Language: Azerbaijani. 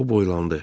O boylandı.